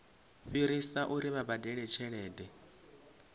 fhirisa uri vha badele tshelede